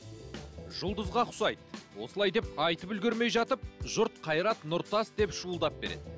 жұлдызға ұқсайды осылай деп айтып үлгермей жатып жұрт қайрат нұртас деп шуылдап береді